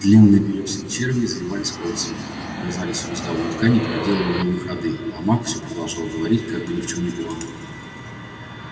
длинные белесые черви извиваясь кольцами вгрызались в мозговую ткань и проделывали новые ходы а маг все продолжал говорить как ни в чём не бывало